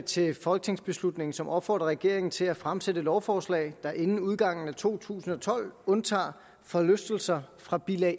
til folketingsbeslutning som opfordrer regeringen til at fremsætte lovforslag der inden udgangen af to tusind og tolv undtager forlystelser fra bilag